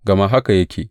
Gama haka yake.